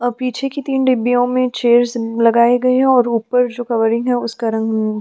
और पीछे की तीन डीब्बीयों में चियर्स लगाए गए है और ऊपर जो कवरिंग है उसका रंग --